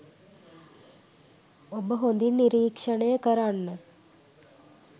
ඔබ හොඳින් නිරීක්‍ෂණය කරන්න